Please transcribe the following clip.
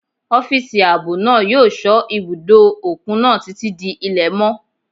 Ọ́físà ààbò náà yóò sọ́ ibùdó òkun náà títí di ilẹ̀ mọ́